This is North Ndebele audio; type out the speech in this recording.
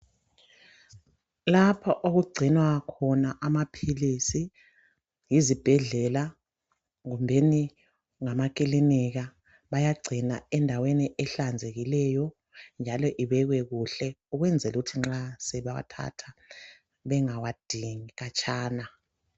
Lapha okugcinwa khona amaphilisi yizibhedlela kumbeni ngamakilinika bayagcina endaweni ehlanzekileyo njalo ebekwe kuhle ukwenzela ukuthi nxa sebewathatha bengawadingi khatshana.